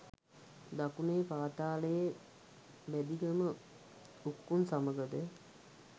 දකුණේ පාතාලයේ බැදිගම උක්කුං සමගද